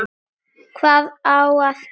Hvað á að kenna?